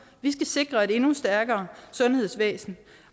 vi skal sikre et endnu stærkere sundhedsvæsen